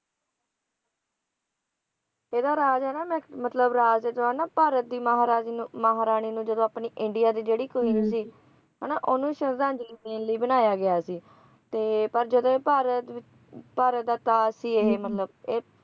ਇਹਦਾ ਰਾਜ ਹੈਗਾ ਮਤਲਬ ਰਾਜ ਹੈਗਾ ਭਾਰਤ ਦੀ ਮਹਾਰਾਣੀ ਮਹਾਰਾਣੀ ਨੂੰ ਜਦੋਂ ਆਪਣੇ ਇੰਡੀਆ ਦੀ ਜਿਹੜੀ queen ਸੀ ਹੈ ਨਾ ਓਹਨੂੰ ਸ਼ਰਧਾਂਜਲੀ ਦੇਣ ਲਈ ਬਣਾਇਆ ਗਿਆ ਸੀ ਤੇ ਪਰ ਜਦੋਂ ਇਹ ਭਾਰਤ ਵਿਚ ਭਾਰਤ ਦਾ ਤਾਜ਼ ਸੀ ਇਹ ਮਤਲਬ